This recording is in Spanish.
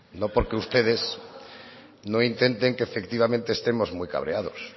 no porque ustedes no intenten que efectivamente estemos muy cabreados